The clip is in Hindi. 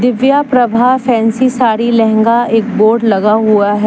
दिव्या प्रभा फैंसी साड़ी लहंगा एक बोर्ड लगा हुआ है।